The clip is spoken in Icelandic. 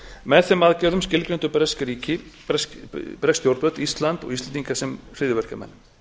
með þeim aðgerðum skilgreindu bresk stjórnvöld ísland og íslendinga sem hryðjuverkamenn